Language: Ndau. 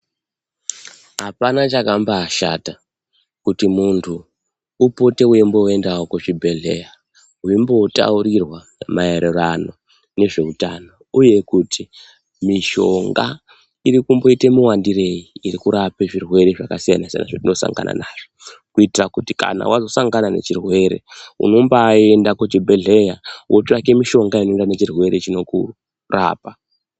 Hapana chakambashata, kuti muntu upote weimboendawo kuzvibhedhleya weimbotaurirwa maererano nezveutano, uye kuti mishonga iri kumboite muwandirei iri kurape zvirwere zvakasiyana siyana zvetinosangana nazvo. Kuitira kuti kana wazosangana nechirwere unombaienda kuchibhedhleya wotsvake mushonga unoenderana nechirwere chinokurapa.